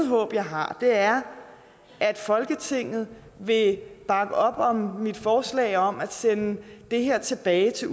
håb jeg har er at folketinget vil bakke op om mit forslag om at sende det her tilbage til